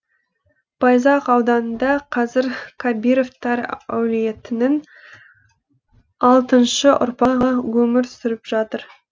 байзақ ауданында қазір кабировтар әулетінің алтыншы ұрпағы өмір сүріп жатыр